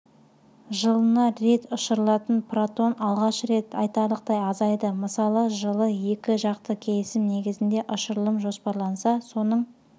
жылына рет ұшырылатын протон алғаш рет айтарлықтай азайды мысалы жылы екіжақты келісім негізінде ұшырылым жоспарланса соның